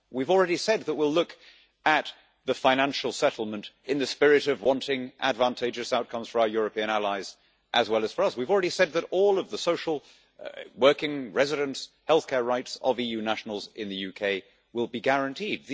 We have already said that we will look at the financial settlement in the spirit of wanting advantageous outcomes for our European allies, as well as for us. We have already said that all of the social, working, residence and healthcare rights of EU nationals in the UK will be guaranteed.